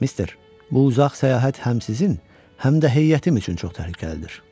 Mister, bu uzaq səyahət həm sizin, həm də heyətimiz üçün çox təhlükəlidir.